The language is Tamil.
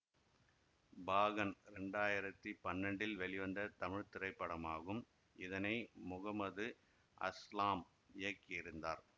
பாகன் இரண்டாயிரத்தி பன்னெண்டில் வெளிவந்த தமிழ் திரைப்படமாகும் இதனை முகமது அஸ்லாம் இயக்கியிருந்தார்